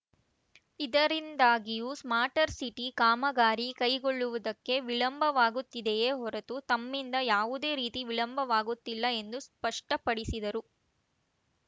ಇದರಿಂದಾಗಿಯೂ smart city ಕಾಮಗಾರಿ ಕೈಗೊಳ್ಳುವುದಕ್ಕೆ ವಿಳಂಬವಾಗುತ್ತಿದೆಯೇ ಹೊರತು ತಮ್ಮಿಂದ ಯಾವುದೇ ರೀತಿ ವಿಳಂಬವಾಗುತ್ತಿಲ್ಲ ಎಂದು ಸ್ಪಷ್ಟಪಡಿಸಿದರು